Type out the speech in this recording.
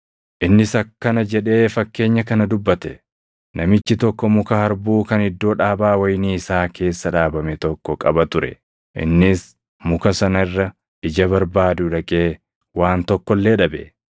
Innis akkana jedhee fakkeenya kana dubbate; “Namichi tokko muka harbuu kan iddoo dhaabaa wayinii isaa keessa dhaabame tokko qaba ture; innis muka sana irra ija barbaaduu dhaqee waan tokko illee dhabe.